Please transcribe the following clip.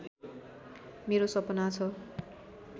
मेरो सपना छ